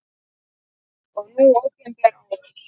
Og nú opinber árás!